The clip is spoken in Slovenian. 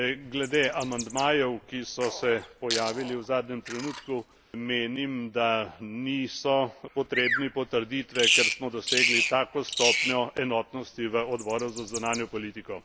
Glede amandmajev, ki so se pojavili v zadnjem trenutku, menim, da niso potrebni potrditve, ker smo dosegli tako stopnjo enotnosti v Odboru za zunanjo politiko.